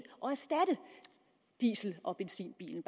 og erstatte diesel og benzinbilen